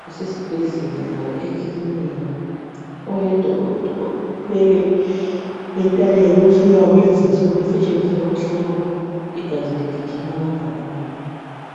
kusesibhedlela loba ekilinika .Oyedwa uthwele entanyeni umtshina wakulezinsuku otshengisa ukuba igazi ligijima kangakanani.